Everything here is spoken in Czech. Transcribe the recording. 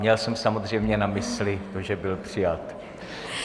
Měl jsem samozřejmě na mysli to, že byl přijat.